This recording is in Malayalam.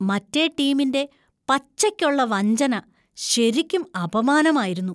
മറ്റേ ടീമിന്‍റെ പച്ചയ്ക്കൊള്ള വഞ്ചന ശരിക്കും അപമാനമായിരുന്നു.